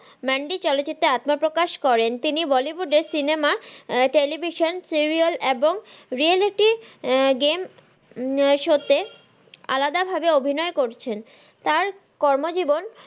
Mandy চলচিত্রে আত্মপ্রকাশ করেন তিনি bollywood এ cinema television serial এবং reality game show তে আলাদা ভাবে অভিনয় করছেন তার কর্মজীবন,